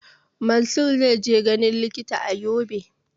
Mansur zai je ganin likita a Yobe